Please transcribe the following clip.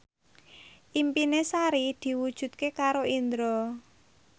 impine Sari diwujudke karo Indro